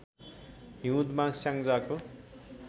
हिउँदमा स्याङ्जाको